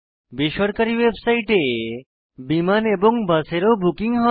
বেসরকারী ওয়েবসাইটে বিমান এবং বাসের ও বুকিং হয়